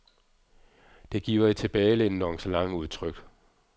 Det giver et tilbagelænet nonchalant udtryk.